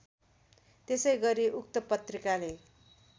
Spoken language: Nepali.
त्यसैगरी उक्त पत्रिकाले